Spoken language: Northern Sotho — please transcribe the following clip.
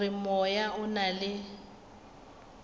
gore moya o na le